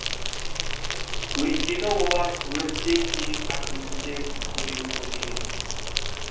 өйткені олар өрттен кейін әкімдіктен көмек көрмеген